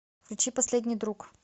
включи последний друг